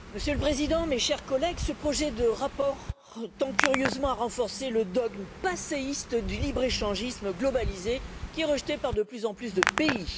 Monsieur le Président, mes chers collègues, ce projet de rapport tend curieusement à renforcer le dogme passéiste du libre échangisme globalisé, qui est rejeté par de plus en plus de pays.